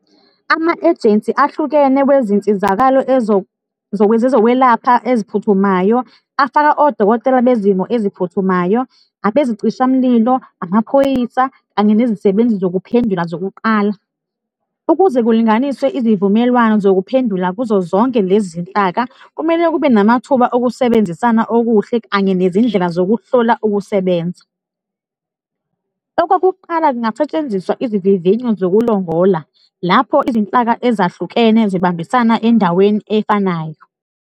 Ama-ejensi ahlukene kwezinsizakalo ezokwelapha eziphuthumayo afaka odokotela bezimo eziphuthumayo, abezicishamlilo, amaphoyisa kanye nezisebenzi zokuphendula zokuqala. Ukuze kulinganiswe izivumelwano zokuphendula kuzo zonke lezi zinhlaka, kumele kube namathuba okusebenzisana okuhle kanye nezindlela zokuhlola ukusebenza. Okokuqala kungasetshenziswa izivivinyo zokulongola, lapho izinhlaka ezahlukene zibambisana endaweni efanayo.